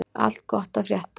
Allt gott að frétta?